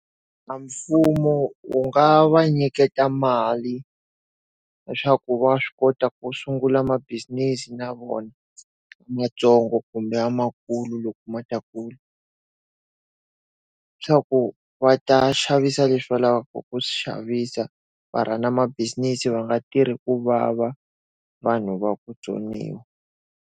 A mfumo wu nga va nyiketa mali, leswaku wa swi kota ku sungula ma-business na vona mantsongo kumbe lamakulu loko ma ta kula. Swa ku va ta xavisa leswi vulaka ku swi xavisa va run-a mabisinesi va nga tirhi ku vava, vanhu va ku vutsoniwa.